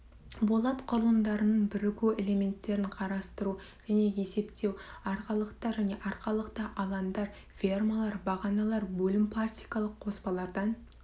болат құрылымдарының бірігу элементерін құрастыру және есептеу арқалықтар және арқалықты алаңдар фермалар бағаналар бөлім пластикалық қоспалардан